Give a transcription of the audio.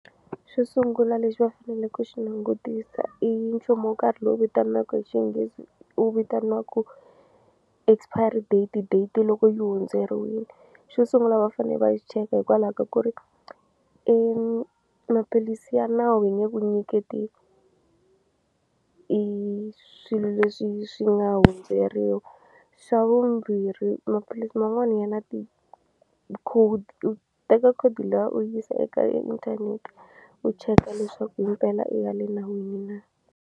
Xo sungula lexi va fanele ku xi langutisa i nchumu wo karhi lowu vitanaka hi xinghezi wu vitaniwaka expiry date date loko yi hundzeriwile xo sungula va fane va xi cheka hikwalaho ka ku ri maphilisi ya nawu hi nge ku nyiketi i swilo leswi swi nga hundzeriwa xa vumbirhi maphilisi man'wani ya na ti-code u teka code liya u yisa eka inthanete u cheka leswaku himpela i ya le nawini na.